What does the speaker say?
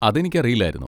അതെനിക്കറിയില്ലായിരുന്നു.